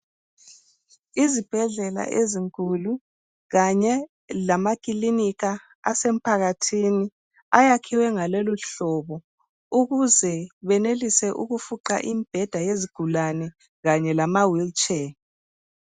Izibhedlela ezinkulu kanye lamakilinika asemphakathini ayakhwe ngaloluhlobo ukuze benelise ukufuqa izigulane kanye lama "wheel chair"